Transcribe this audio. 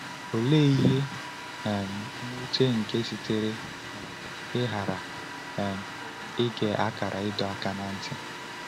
Olee ihe um nwute nke sitere um n’ịghara um ige akara ịdọ aka ná ntị!